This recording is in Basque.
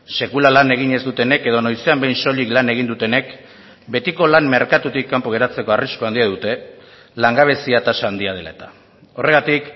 sekula lan egin ez dutenek edo noizean behin soilik lan egin dutenek betiko lan merkatutik kanpo geratzeko arrisku handia dute langabezia tasa handia dela eta horregatik